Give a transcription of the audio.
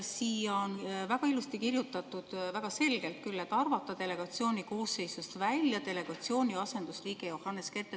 Siia on väga ilusti kirjutatud, väga selgelt küll, et arvata delegatsiooni koosseisust välja delegatsiooni asendusliige Johannes Kert.